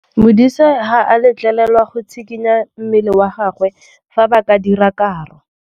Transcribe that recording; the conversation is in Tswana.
Modise ga a letlelelwa go tshikinya mmele wa gagwe fa ba dira karô.